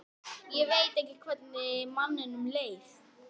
Ég veit ekki hvernig manninum leið.